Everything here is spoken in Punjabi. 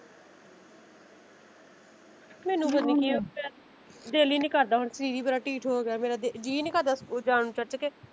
ਮੈਨੂੰ ਪਤਾ ਨੀ ਕੀ ਹੋ ਗਿਆ ਦਿਲ ਹੀ ਨੀ ਕਰਦਾ ਹੁਣ ਸਰੀਰ ਬੜਾ ਢਿੱਠ ਹੋ ਗਿਆ ਜੀਅ ਨੀ ਕਰਦਾ ਜਾਣ ਨੂੰ ਚਰਚ ਕੇ।